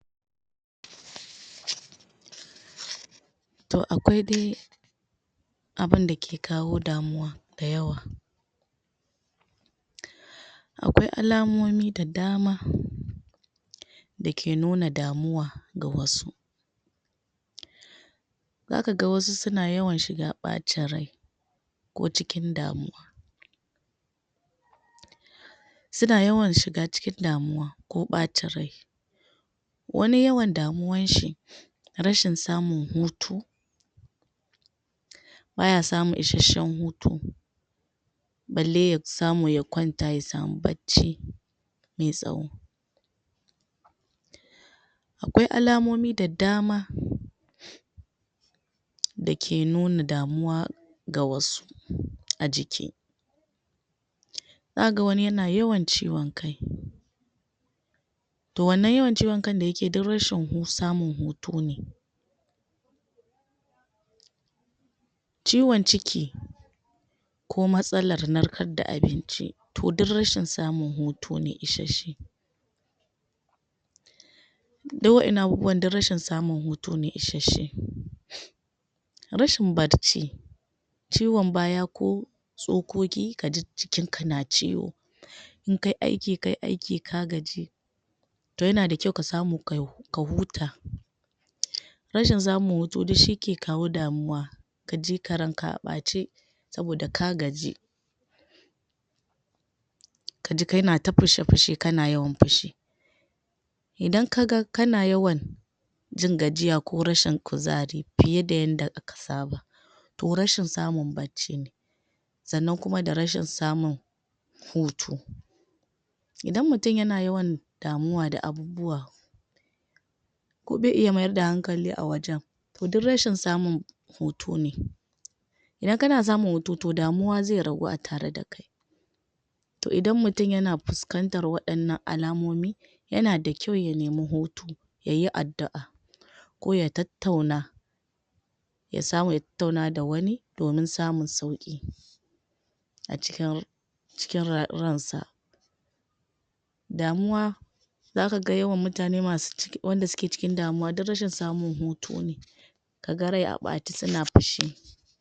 to aƙwai dai abunda ke kawo damuwa da yawa aƙwai alamomi da dama dake nuna damuwa ga wasu za kaga wasu suna yawan shiga ɓacin rai ko cikin damuwa suna yawa shiga cikin damuwa ko ɓacin rai wani yawan damuwan shi rashin samun hutu baya samu ishasshan hutu balle ya samu ya ƙwanta ya samu bacci mai tsawo aƙwai alamomi da dama dake nuna damuwa ga wasu a jiki zaka ga wani yana yawan ciwan kai to wannan yawan ciwan kai da yakeyi duk rashin samun hutu ne ciwan ciki ko matsalar narkar da abinci to duk rashin samun hutu ne ishasshe du wa innan abubuwan du rashin samun hutu ne ishasshe rashin bacci ciwan baya ko tsokoki kaji jikinka na ciwo inkai aiki kai aiki ka gaji to yana da kyau ka samu ka huta rashin samun hutu duk shi ke kawo damuwa ka jika ranka a ɓace saboda ka gaji kaji kana ta fushe fushe kana yawan fushi idan kaga kana yawan jingajiya ko rashin kuzari fiye da yanda ka saba to rashin samun bacci ne sannan kuma da rashin samun hutu idan mutun yana yawan damuwa da abubuwa ko be iya mayar da hankali a wajan to duk rashin samun hutu ne idan kana samun hutu to damuwa zai ragu a tare dakai to idan mutun yana fuskantar waɗannan alamomi yana da kyau ya neme hutu yayi addu'a ko ya tattauna ya samu ya tattauna da wani domin samun sauƙi a cikin ransa damuwa zaka ga yawan mutane wanda suke cikin damuwa duk rashin samun hutu ne kaga rai a ɓace suna fushi